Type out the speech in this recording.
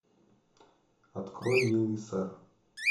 открой милый сэр